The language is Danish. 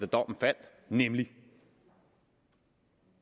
dommen faldt nemlig at